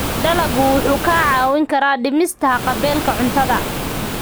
Dalaggu wuxuu kaa caawin karaa dhimista haqab-beelka cuntada.